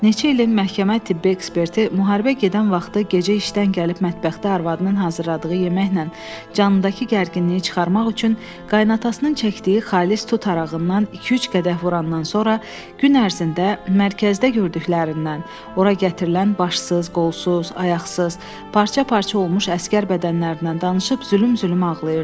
Neçə ilin məhkəmə tibbi eksperti müharibə gedən vaxtı gecə işdən gəlib mətbəxdə arvadının hazırladığı yeməklə canındakı gərginliyi çıxarmaq üçün qaynatasının çəkdiyi xalis tut arağından iki-üç qədəh vurandan sonra gün ərzində mərkəzdə gördüklərindən, ora gətirilən başsız, qolsuz, ayaqsız, parça-parça olmuş əsgər bədənlərindən danışıb zülüm-zülüm ağlayırdı.